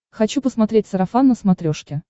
хочу посмотреть сарафан на смотрешке